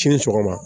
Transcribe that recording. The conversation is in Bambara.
Sini sɔgɔma